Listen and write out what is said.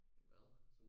Hvad?